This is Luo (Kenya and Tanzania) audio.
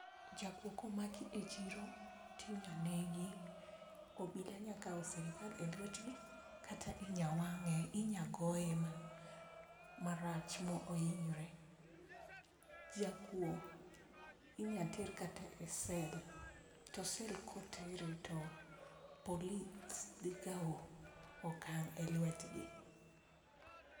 Jakuo ko maki e chiro to inyalo negi obila nyalo kao sirikal e lwet gi kata inyawange inyagoye marach mo hinyre, jakuo inyal ter kata e cell to cell kotere to polis dhi kao okang e lwet gi.